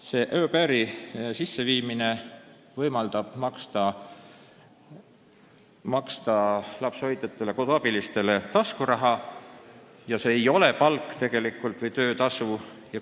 Selle au pair'i regulatsiooni sisseviimine võimaldab lapsehoidjatele-koduabilistele taskuraha maksta, see ei ole palk või töötasu.